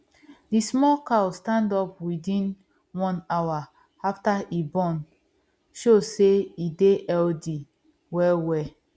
the small cow stand up within one hour after e born show say e dey healthy well well